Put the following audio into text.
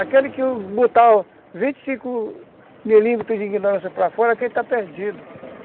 Aquele que botar o vinte milímetros de ignorância para fora, aquele está perdido.